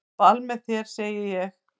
Á ball með þér segi ég.